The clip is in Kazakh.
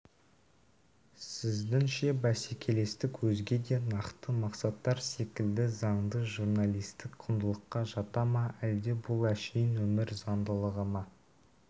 сіздіңше бәсекелестік өзге де нақты мақсаттар секілді заңды журналистік құндылыққа жата ма әлде бұл әшейін өмір заңдылығы ма